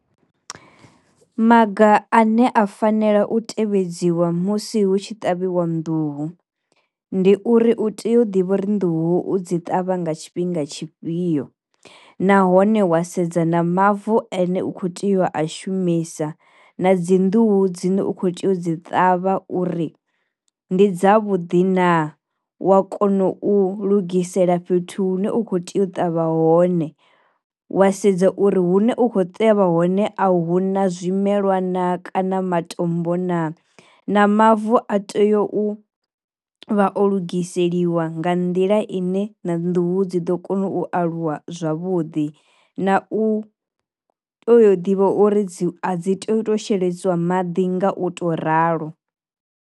Maga a ne a fanela u tevhedziwa musi hu tshi ṱavhiwa nḓuhu, ndi uri u tea u ḓivha uri nḓuhu dzi ṱavha nga tshifhinga tshifhio nahone wa sedza na mavu ane u kho tea u a shumisa na dzi nḓuhu dzine u kho tea u dzi ṱavha uri ndi dza vhuḓi na, wa kono u lugisela fhethu hune u kho tea u ṱavha hone wa sedza uri hune u kho teavha hone a hu na zwi melwa na kana matombo na, na mavu a tea u vha o lugiseliwa nga nḓila ine na nnḓuhu dzi ḓo kona u aluwa zwavhuḓi, na u tea ḓivha uri dzi a dzi teyi u to sheledziwa maḓi nga u to ralo.